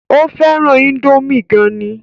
Ó fẹ́ràn índómì gan ni